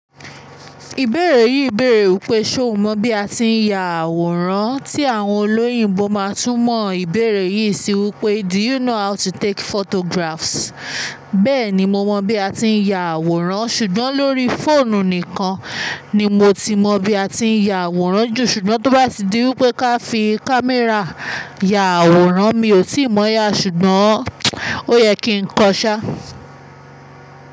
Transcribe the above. Ìbéèrè yìí bèèrè wípé, ṣé o mọ bí a ti ń ya àwòrán? Tí àwọn olóyìnbo máa tú mọ ìbéèrè yìí síi wípé "do you know how to take photographs?" Bẹ́ẹ̀ni mo mọ bí a ti ń ya àwòrán, ṣùgbọ́n lórí fóònù nìkan ni mo ti mọ bí a ti ń ya àwòrán jù. Ṣùgbọ́n tó bá di wípé ká fi kámẹ́rà ya àwòrán mi ò tíì mọ̀ ya, ṣùgbọ́n o yẹ kí ń kọ ṣá.